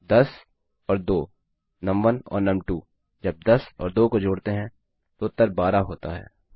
10 और 2 नुम1 और नुम2 जब 10 और 2 को जोड़ते हैं तो उत्तर 12 होता है